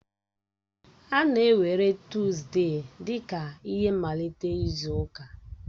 A na-ewere Tọzdee dị ka ihe mmalite izu ụka.